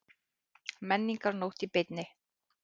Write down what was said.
Menningarnótt í beinni